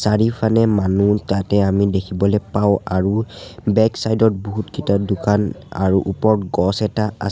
চাৰিফানে মানুহ তাতে আমি দেখিবলে পাওঁ আৰু বেক চাইড ত বহুতকিতা দোকান আৰু ওপৰত গছ এটা আছ--